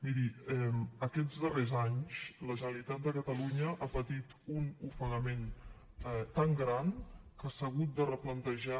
miri aquests darrers anys la generalitat de catalunya ha patit un ofegament tan gran que s’ha hagut de replantejar